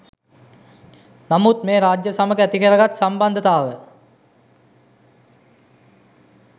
නමුත් මේ රජය සමග ඇතිකරගත් සම්බන්ධතාව